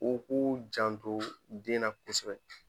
U k'u janto den na kosɛbɛ